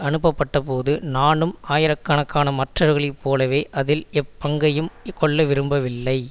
அனுப்பப்பட்டபோது நானும் ஆயிரக்கணக்கான மற்றவர்களைப் போலவே அதில் எப்பங்கையும் கொள்ள விரும்பவில்லை